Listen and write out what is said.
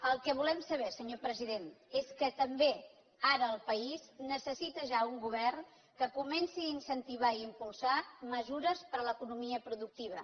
el que volem saber senyor president és que també ara el país necessita ja un govern que comenci a incentivar i impulsar mesures per a l’economia productiva